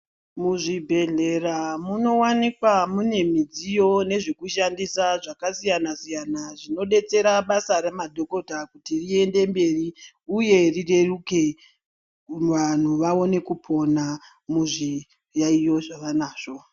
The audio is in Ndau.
Muzvibhedhleya munowanikwa mune midziyo nezvekushandisa zvakasiyana siyana zvinodetsera basa remadhokota kuti riende mberi uye rireruke, vantu vaone kupona muzviyaiyo zvavanazvo.